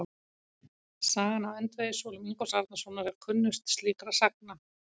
Sagan af öndvegissúlum Ingólfs Arnarsonar er kunnust slíkra sagna.